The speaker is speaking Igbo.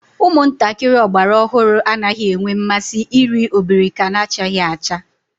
Umuntakiri ogbara ohuru anaghi enwe nmasi iri obirika nachaghi acha